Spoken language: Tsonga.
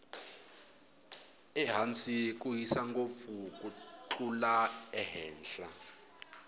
ehansi ku hisa ngopfu ku tlula ehenhla